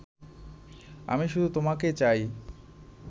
আমি শুধু তোমাকে চাই